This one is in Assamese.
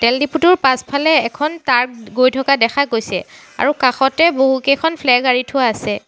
তেলডিপুটোৰ পাছফালে এখন টাৰ্ক গৈ থকা দেখা গৈছে আৰু কাষতে বহুকেইখন ফ্লেগ আঁৰি থোৱা আছে।